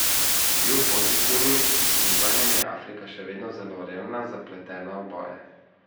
Kljub pozitivnim gibanjem je Afrika še vedno zelo revna, zapletena v boje.